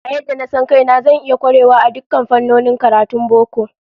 A yadda na san kaina, zan iya kwarewa a dukkan fannonin karatun boko